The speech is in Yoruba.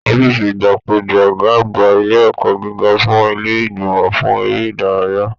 Ọ̀fiísí igbákejì Ọgá àgbà ilé ẹ̀kọ́ gíga sunmọ ilé ìgbìmọ̀ fún eré ìdárayá.